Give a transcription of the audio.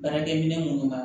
Baarakɛ minɛn munnu b'a